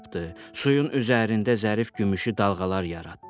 Suyun üzərində zərif gümüşü dalğalar yaratdı.